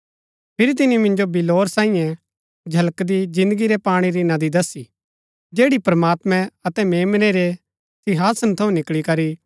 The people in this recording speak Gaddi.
फिरी तिनी मिन्जो बिल्लौर सांईये झलकदी जिन्दगी रै पाणी री नदी दसी जैड़ी प्रमात्मैं अतै मेम्नै रै सिंहासन थऊँ निकळी करी